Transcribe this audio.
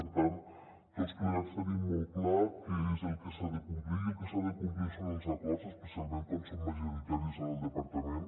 per tant tots plegats tenim molt clar què és el que s’ha de complir i el que s’ha de complir són els acords especialment quan són ma·joritaris en el departament